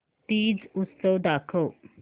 तीज उत्सव दाखव